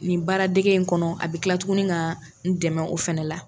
Nin baara dege in kɔnɔ a bɛ kila tuguni ka n dɛmɛ o fana la.